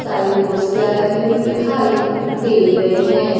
सारी कुर्सियां लगी हुई दिखाई दे रही हैं।